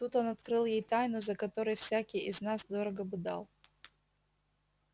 тут он открыл ей тайну за которой всякий из нас дорого бы дал